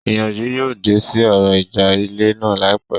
Ìyanjú yóò dé sí ọ̀rọ̀ ìjà ilẹ̀ náà láìpẹ́